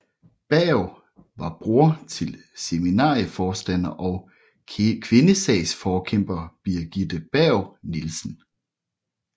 Berg var bror til seminarieforstander og kvindesagsforkæmper Birgitte Berg Nielsen